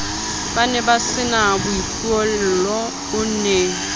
ba nebasena boipuello o ne